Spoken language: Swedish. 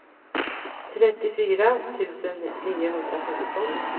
trettiofyra tusen niohundrafemton